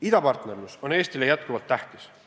Idapartnerlus on Eestile jätkuvalt tähtis.